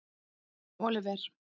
Oliver